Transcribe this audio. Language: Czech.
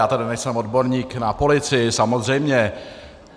Já tedy nejsem odborník na policii, samozřejmě.